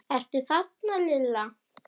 Ertu þarna Lilla?